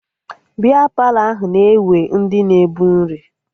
Bịa Palọ ahụ na-ewe ndị na-ebu nri